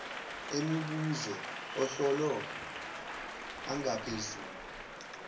emibuzo ohlolo angaphezulu